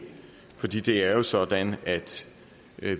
fordi det jo er sådan at